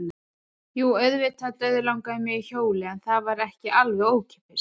Jú, auðvitað dauðlangaði mig í hjólið en það var ekki alveg ókeypis.